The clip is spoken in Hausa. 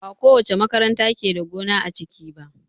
Bakowace makaranta ke da gona a ciki ba